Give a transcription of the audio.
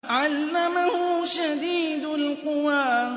عَلَّمَهُ شَدِيدُ الْقُوَىٰ